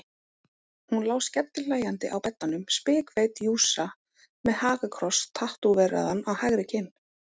Hún lá skellihlæjandi á beddanum, spikfeit jússa með hakakross tattóveraðan á hægri kinn.